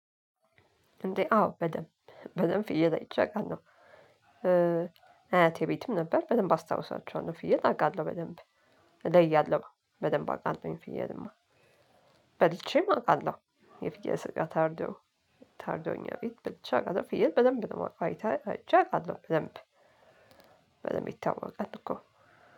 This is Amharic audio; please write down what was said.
እንዴ አዎ በደንብ በደንብ ፍየል አይቸ አውቃለሁ። አያቴ ቤትም ነበር በደንብ አስታውሳችኋለሁ ፍየል አውቃለሁ በደንብ። እዛ እያለሁ በደንብ አውቃለሁኝ ፍየልማ። በልቼም አውቃለሁ የፍየል ስጋ ታርዶ። ታርዶ እኛ ቤት በልቼ አውቃለሁ ፍየል በደንብ ነው የማውቀው አይቼ አውቃለሁ ደንብ። በደንብ ይታወቃል እኮ።